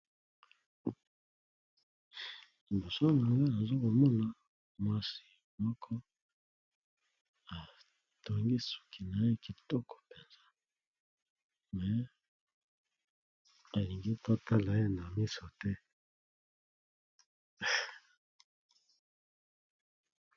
Liboso nanga nazo komona mwasi moko atongi suki na ye kitoko mpenza, mais alingi totala ye na miso te.